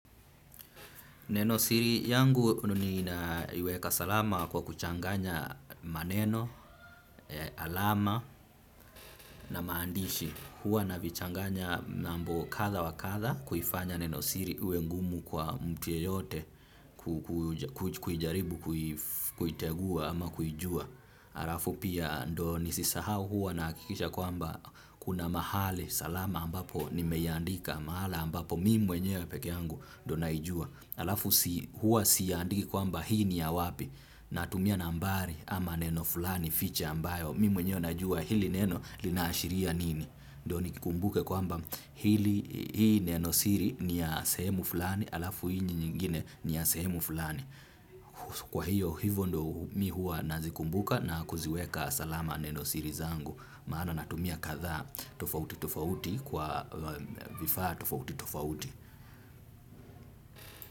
Nenosiri yangu ninaiweka salama kwa kuchanganya maneno, alama na maandishi. Hua navichanganya nambo katha wa katha kuifanya nenosiri iwe ngumu kwa mtu ye yote kujaribu kuitegua ama kujua. Alafu pia ndo nisisahau hua nakikisha kwamba kuna mahali salama ambapo ni meyandika mahala ambapo mi mwenyewe peke yangu ndo naijua. Alafu hua siandiki kwamba hii ni ya wapi. Natumia nambari ama neno fulani ficha ambayo. Mimi mwenyewe najua hili neno linashiria nini. Ndio nikikumbuke kwamba hili hii neno siri ni ya sehemu fulani. Alafu hii ni nyingine ni ya sehemu fulani. Kwa hiyo hivyo ndo mi hua nazikumbuka na kuziweka salama neno siri zangu. Maana natumia kadhaa tofauti tofauti kwa vifaa tofauti tofauti.